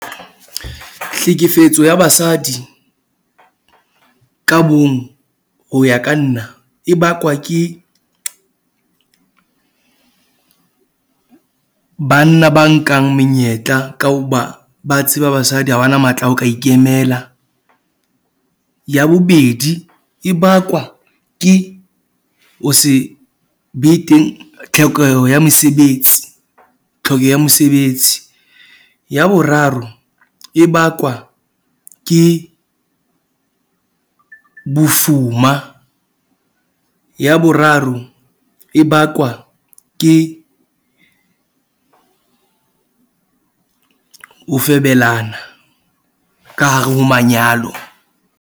Tlhekefetso ya basadi ka bong ho ya ka nna e bakwa ke banna ba nkang menyetla ka hoba ba tseba basadi ha ba na matla ao ka ikemela. Ya bobedi e bakwa ke ho se be teng tlhokeho ya mesebetsi, tlhokeho ya mesebetsi. Ya boraro e bakwa ke, bofuma. Ya boraro e bakwa ke ho febelana ka hare ho manyalo.